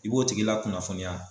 I b'o tigi lakunnafoniya